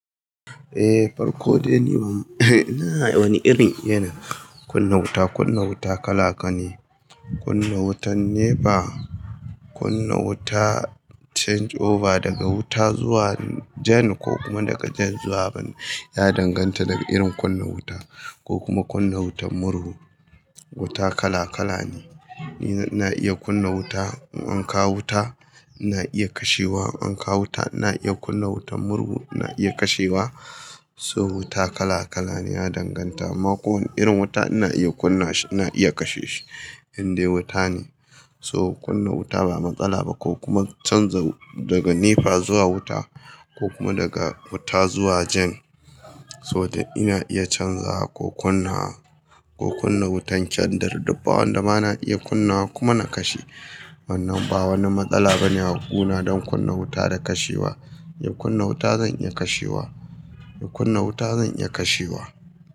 Eh, farko dai ni ban eh ina wani irin yana kunna wuta. Kunna wuta kala ka ne. Kunna wutan NEPA, kunna wuta change over daga wuta zuwa jen ko kuma daga jen zuwa ban ya danganta da irin kunna wuta ko kuma kunna wutan murhu. Wuta kala kala ne. Ni na iya kunna wuta, in an kawo wuta ina iya kashewa, an kawo wuta ina iya kunna wutan murhu ina iya kashewa. So wuta kala kala ne ya danganta, amma kowane irin wuta ina iya kunna shi, ina iya kashe shi in dai wuta ne. So kunna wuta ba matsala ba ko kuma canza daga NEPA zuwa wuta ko kuma daga wuta zuwa jan. Saboda ina iya canza ko kunna wa ko kunna wutan kendir duk ba wanda ma na iya kunna wa kuma na kashe. Wannan ba wani matsala bane a guna don kunna wuta da kashewa. In kunna wuta zan iya kashewa, in kunna wuta zan iya kashewa.